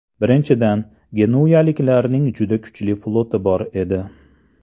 Birinchidan, genuyaliklarning juda kuchli floti bor edi.